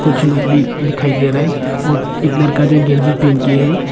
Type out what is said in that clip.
कुछ लोग भी दिखाई दे रहे है और एक लरका जो गंजी पेन के है।